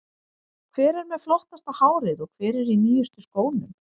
Hver er með flottasta hárið og hver er í nýjustu skónum?